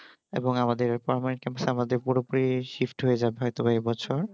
এবং আমাদের এই permanent পুরুপুরি shift হয়ে যাবে হয়তো বা এইবছর